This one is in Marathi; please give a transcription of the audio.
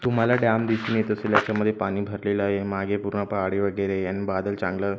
तुम्हाला डॅम दिसून येत असेल याच्यामध्ये पाणी भरलेलं आहे मागे पूर्ण पहाडी वगैरे आन बादल चांगलं--